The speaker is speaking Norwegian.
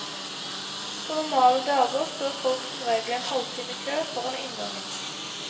På normale dager står folk som regel en halvtime i kø foran inngangen.